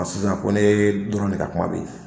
Hali san ko ne dɔrɔnw de ka kuma bɛ yen.